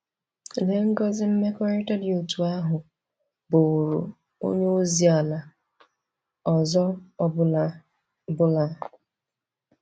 Lee ngọzi mmekọrịta dị otú ahụ bụụrụ onye ozi ala ọzọ ọ bụla bụla!